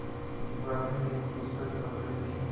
वह एक पुस्तक पढ़ रहीं थी